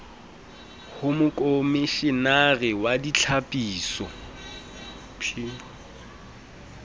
ho mokomishenare wa ditlhapiso p